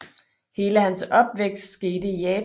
Hele hans opvækst skete i Japan